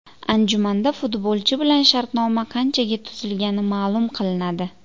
Anjumanda futbolchi bilan shartnoma qanchaga tuzilgani ma’lum qilinadi.